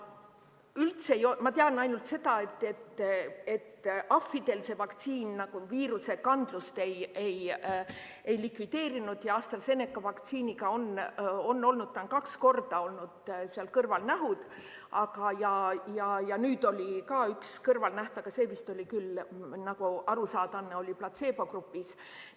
Jällegi, ma tean ainult seda, et ahvidel see vaktsiin viirusekandlust ei likvideerinud, ja AstraZeneca vaktsiiniga on olnud, seal on kaks korda olnud kõrvalnähud ja nüüd oli ka üks kõrvalnäht, aga see vist oli küll, nagu võib aru saada, platseebogrupis.